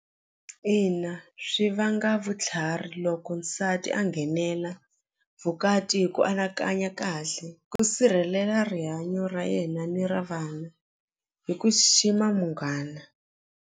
Ina swi vanga vutlhari loko nsati a nghenela vukati hi ku anakanya kahle ku sirhelela rihanyo ra yena ni ra vanhu hi ku xixima munghana.